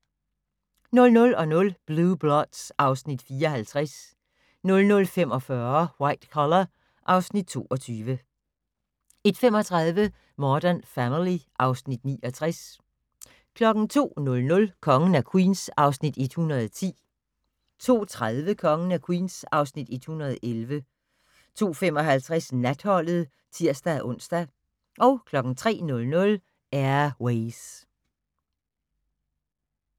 00:00: Blue Bloods (Afs. 54) 00:45: White Collar (Afs. 22) 01:35: Modern Family (Afs. 69) 02:00: Kongen af Queens (Afs. 110) 02:30: Kongen af Queens (Afs. 111) 02:55: Natholdet (tir-ons) 03:00: Air Ways